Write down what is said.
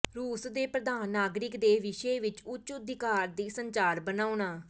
ਰੂਸ ਦੇ ਪ੍ਰਧਾਨ ਨਾਗਰਿਕ ਦੇ ਵਿਸ਼ੇ ਵਿੱਚ ਉੱਚ ਅਧਿਕਾਰ ਦੀ ਸੰਚਾਰ ਬਣਾਉਣਾ